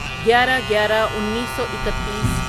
گیارہ گیارہ انیسو اکتیس